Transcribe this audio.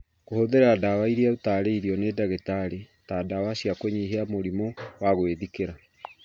Kũhũthĩra ndawa iria ũtaarĩirio nĩ ndagĩtarĩ ta ndawa cia kũnyihia mũrimũ wa gwĩthikĩra